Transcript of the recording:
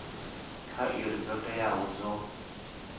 kha iri dzo teaho dzo